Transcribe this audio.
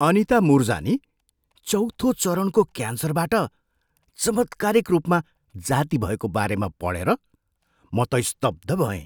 अनिता मुरजानी चौँथो चरणको क्यान्सरबाट चमत्कारिक रूपमा जाती भएको बारेमा पढेर म त स्तब्ध भएँ।